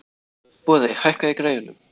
Boði, hækkaðu í græjunum.